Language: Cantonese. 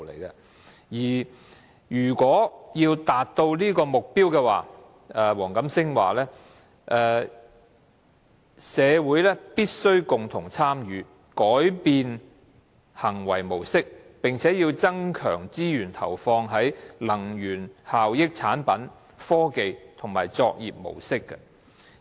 如果要達到這個目標，黃錦星說："社會必須共同參與，改變行為模式，並要增強資源投放於能源效益產品、科技及作業模式"。